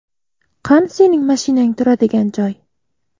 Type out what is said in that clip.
Qani sening mashinang turadigan joy?”.